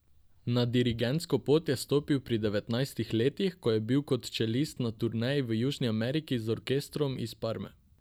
Na dirigentsko pot je stopil pri devetnajstih letih, ko je bil kot čelist na turneji v Južni Ameriki z orkestrom iz Parme.